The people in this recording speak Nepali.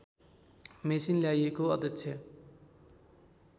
मेसिन ल्याइएको अध्यक्ष